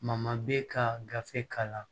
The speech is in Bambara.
bɛ ka gafe k'a la